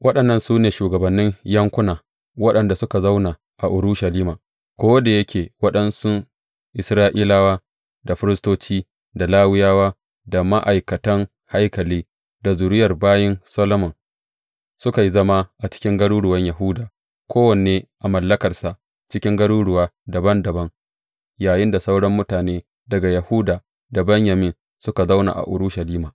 Waɗannan su ne shugabannin yankuna waɗanda suka zauna a Urushalima ko da yake waɗansu Isra’ilawa, da firistoci, da Lawiyawa, da ma’aikatan haikali, da zuriyar bayin Solomon, suka yi zama a cikin garuruwan Yahuda, kowanne a mallakarsa cikin garuruwa dabam dabam, yayinda sauran mutane daga Yahuda da Benyamin suka zauna a Urushalima.